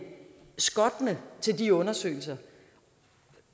skottende til de undersøgelser